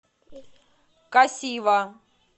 касива